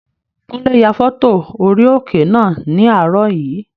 Kúnlé ya fọ́tò orí òkè náà ní àárọ̀ yìí